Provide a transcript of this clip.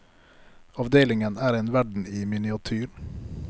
Avdelingen er en verden i miniatyr.